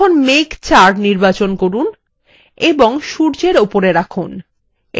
এখন মেঘ ৪ নির্বাচন করুন এবং সূর্যের উপরে রাখুন